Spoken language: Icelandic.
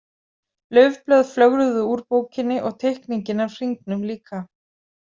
Laufblöð flögruðu úr bókinni og teikningin af hringnum líka.